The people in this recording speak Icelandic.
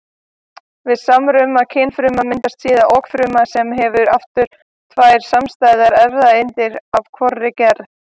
Við samruna kynfrumna myndast síðan okfruma sem hefur aftur tvær samstæðar erfðaeindir af hvorri gerð.